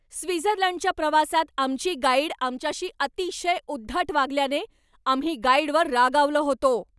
स्वित्झर्लंडच्या प्रवासात आमची गाईड आमच्याशी अतिशय उद्धट वागल्याने आम्ही गाईडवर रागावलो होतो.